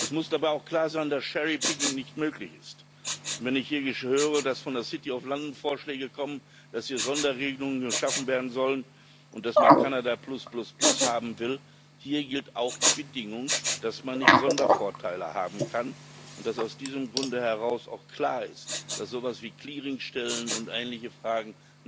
Es muss dabei auch klar sein, dass cherry picking nicht möglich ist. Wenn ich hier höre, dass von der City of London Vorschläge kommen, dass hier Sonderregelungen geschaffen werden sollen und dass man Kanada plus plus plus haben will Hier gilt auch die Bedingung, dass man nicht Sondervorteile haben kann und dass aus diesem Grunde heraus auch klar ist, dass so etwas wie Clearingstellen und ähnliche Fragen